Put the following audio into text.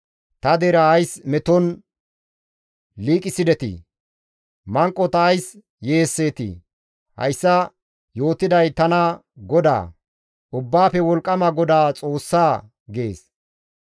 Ta deraa ays meton liiqisidetii? Manqota ays yeesseetii? Hayssa yootiday tana Goda, Ubbaafe Wolqqama GODAA Xoossaa» gees.